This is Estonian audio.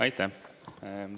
Aitäh!